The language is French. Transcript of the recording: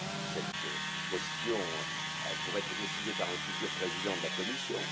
Cette question pourrait être décidée par un futur président de la Commission.